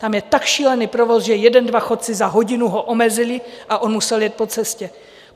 Tam je tak šílený provoz, že jeden, dva chodci za hodinu ho omezili a on musel jet po cestě.